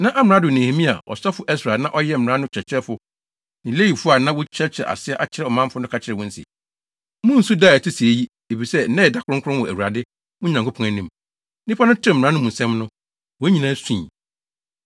Na amrado Nehemia, ɔsɔfo Ɛsra a na ɔyɛ mmara no kyerɛkyerɛfo ne Lewifo a na wɔrekyerɛkyerɛ ase akyerɛ ɔmanfo no ka kyerɛɛ wɔn se, “Munnsu da a ɛte sɛɛ yi! Efisɛ nnɛ yɛ da kronkron wɔ Awurade, mo Nyankopɔn, anim.” Nnipa no tee mmara no mu nsɛm no, wɔn nyinaa sui.